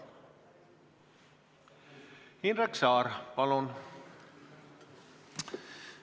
Indrek Saar, palun!